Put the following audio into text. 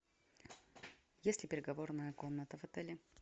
есть ли переговорная комната в отеле